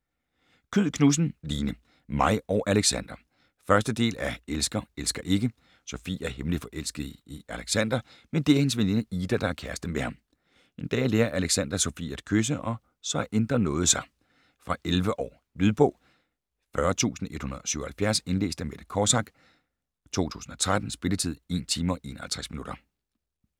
Kyed Knudsen, Line: Mig og Alexander 1. del af Elsker, elsker ikke. Sofie er hemmeligt forelsket i Alexander, men det er hendes veninde Ida der er kæreste med ham. En dag lærer Alexander Sofie at kysse og så ændrer noget sig. Fra 11 år. Lydbog 40177 Indlæst af Mette Kosack, 2013. Spilletid: 1 timer, 51 minutter.